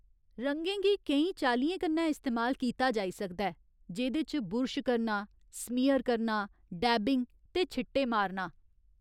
रंगें गी केईं चाल्लियें कन्नै इस्तेमाल कीता जाई सकदा ऐ, जेह्दे च बुरश करना, स्मियर करना, डैबिंग ते छिट्टे मारना।